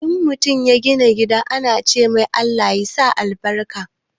In mutum ya gina gida ana cemai "Allah sa albarka"